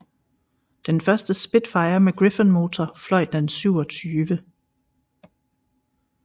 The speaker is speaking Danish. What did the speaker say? Den første Spitfire med Griffon motor fløj den 27